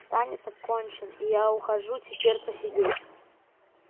танец окончен и я ухожу теперь посидеть